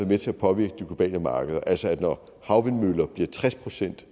med til at påvirke de globale markeder altså at når havvindmøller bliver tres procent